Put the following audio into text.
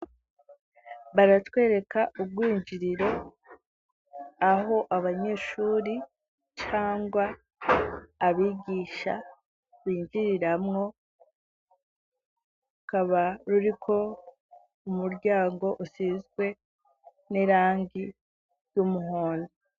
Baratwereka urwinjiriro, aho abanyeshure cangwa abigisha binjiriramwo, rukaba ruriko umuryango usizwe n'irangi ry'umuhondo.